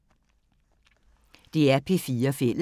DR P4 Fælles